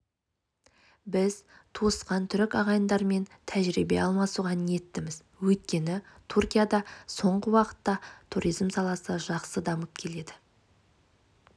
біз туысқан түрік ағайындармен тәжірибе алмасуға ниеттіміз өйткені түркияда соңғы уақытта туризм саласы жақсы дамып келеді